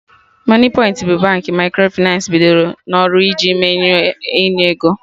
Moniepoint bụ Baankị Microfịnans bidoro n'ọrụ iji mechinu enye ego